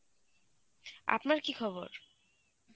আপনার কী খবর?